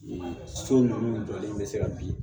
So ninnu jɔlen bɛ se ka bin